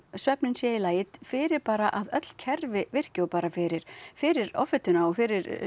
svefninn sé í lagi fyrir bara að öll kerfi virki og bara fyrir fyrir offituna og fyrir